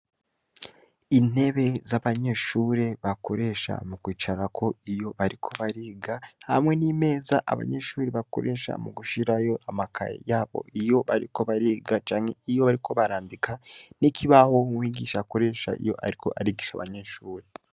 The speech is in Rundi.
Intebe z'abanyeshure bakoresha mu kwicararako iyo bariko bariga hamwe n'imeza abanyeshure bakoresha mu gushirayo amakaye yabo iyo bariko bariga canke iyo bariko barandika n'ikibaho umwigisha akoresha iyo ariko arigisha abanyeshure.